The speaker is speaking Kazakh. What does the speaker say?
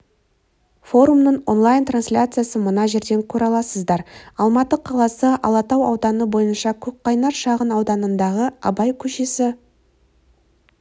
форумның онлайн-трансляциясын мына жерден көре аласыздар алматы қаласы алатау ауданы бойынша көкқайнар шағын ауданындағы абай көшесі